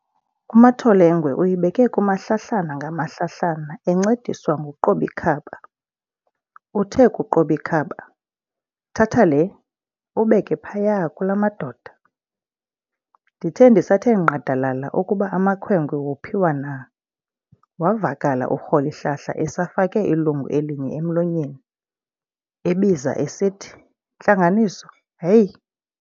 U"Matholengwe" uyibeke kumahlahlana ngamahlahlana encediswa ngu"Qobikhaba". uthe ku"Qobikhaba", "Thatha le, ubeke phaya kulaa madoda.". ndithe ndisathe nqadalala ukuba amakhwenkwe wophiwa na, wavakala u"Rholihlahla" esafake ilungu elinye emlonyeni, ebiza esithi, "Ntlanganiso" heyi!